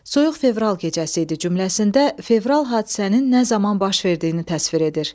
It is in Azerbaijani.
Soyuq fevral gecəsi idi cümləsində fevral hadisənin nə zaman baş verdiyini təsvir edir.